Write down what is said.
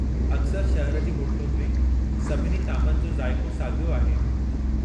अक्सरि शहर जी होटलुनि में, सभिनी तामनि जो ज़ाइक़ो साॻियो आहे।